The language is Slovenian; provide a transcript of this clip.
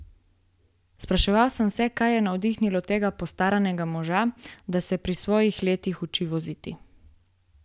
Spraševal sem se, kaj je navdahnilo tega postaranega moža, da se pri svojih letih uči voziti?